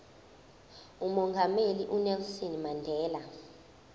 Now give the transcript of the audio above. umongameli unelson mandela